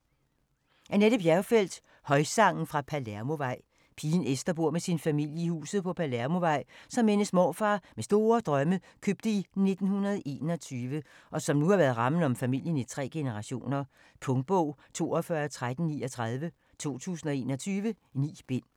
Bjergfeldt, Annette: Højsangen fra Palermovej Pigen Esther bor med sin familie i huset på Palermovej, som hendes morfar med store drømme købte i 1921, og som nu har været rammen om familien i tre generationer. Punktbog 421339 2021. 9 bind.